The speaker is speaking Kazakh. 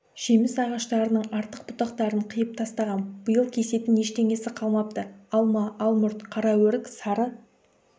жеміс ағаштарының артық бұтақтарын қиып тастағам биыл кесетін ештеңесі қалмапты алма алмұрт қара өрік сары